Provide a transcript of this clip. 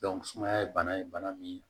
sumaya ye bana ye bana min